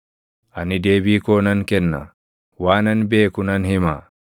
Ani deebii koo nan kenna; waanan beeku nan hima.